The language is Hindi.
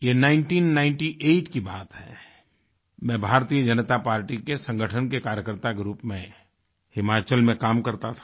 ये 1998 की बात है मैं भारतीय जनता पार्टी के संगठन के कार्यकर्ता के रूप में हिमाचल में काम करता था